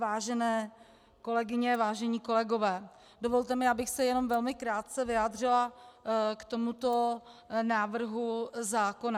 Vážené kolegyně, vážení kolegové, dovolte mi, abych se jenom velmi krátce vyjádřila k tomuto návrhu zákona.